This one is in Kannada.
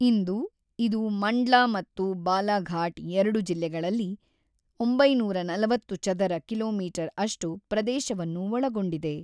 ಇಂದು, ಇದು ಮಂಡ್ಲಾ ಮತ್ತು ಬಾಲಾಘಾಟ್ ಎರಡು ಜಿಲ್ಲೆಗಳಲ್ಲಿ ಒಂಬೈನೂರ ನಲವತ್ತು ಚದರ ಕಿ.ಮೀ. ಅಷ್ಟು ಪ್ರದೇಶವನ್ನು ಒಳಗೊಂಡಿದೆ.